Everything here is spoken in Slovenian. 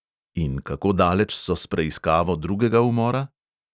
In kako daleč so s preiskavo drugega umora?